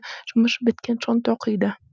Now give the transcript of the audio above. жұмыс біткен соң тоқиды